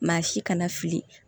Maa si kana fili